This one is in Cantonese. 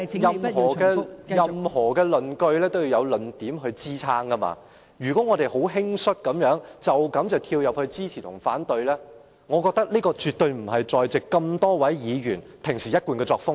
代理主席，任何論據也需要有論點支撐，如果我們十分輕率地斷言支持或反對，我認為這絕對不是在席多位議員的一貫作風。